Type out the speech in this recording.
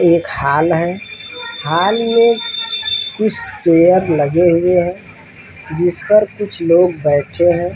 एक हॉल है हॉल मै कुछ चेयर लगे हुए हैं जिस पर कुछ लोग बैठे हैं।